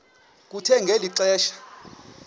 kuthe ngeli xesha